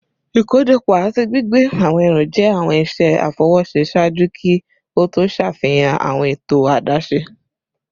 Ikojọpọ ati gbigbe awọn ẹru jẹ awọn iṣẹ afọwọṣe ṣaaju ki o to ṣafihan awọn eto adaṣe